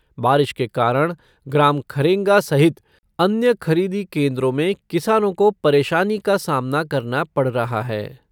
बारिश के कारण ग्राम खरेंगा सहित अन्य खरीदी केन्द्रों में किसानों को परेशानी का सामना करना पड़ रहा है।